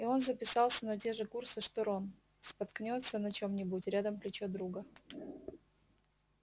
и он записался на те же курсы что рон споткнётся на чём-нибудь рядом плечо друга